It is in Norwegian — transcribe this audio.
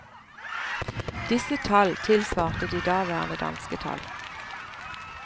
Disse tall tilsvarte de daværende danske tall.